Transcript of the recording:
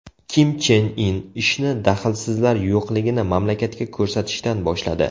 Kim Chen In ishni daxlsizlar yo‘qligini mamlakatga ko‘rsatishdan boshladi!